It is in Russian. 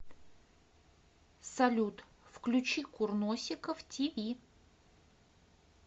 салют включи курносиков ти ви